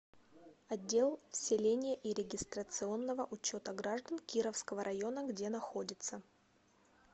отдел вселения и регистрационного учета граждан кировского района где находится